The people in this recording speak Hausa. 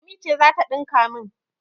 Lami ce za ta ɗinka min.